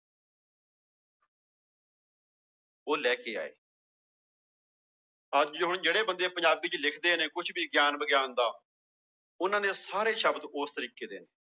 ਉਹ ਲੈ ਕੇ ਆਏ ਅੱਜ ਹੁਣ ਜਿਹੜੇ ਬੰਦੇ ਪੰਜਾਬੀ ਚ ਲਿਖਦੇ ਨੇ ਕੁਛ ਵੀ ਗਿਆਨ ਵਿਗਿਆਨ ਦਾ ਉਹਨਾਂ ਨੇ ਸਾਰੇ ਸ਼ਬਦ ਉਸ ਤਰੀਕੇ ਦੇ ਨੇ।